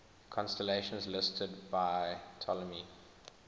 constellations listed by ptolemy